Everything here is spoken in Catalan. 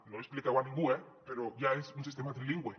no ho expliqueu a ningú eh però ja és un sistema trilingüe